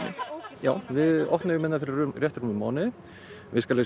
við opnuðum fyrir rétt rúmum mánuði